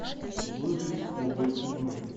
выжить любой ценой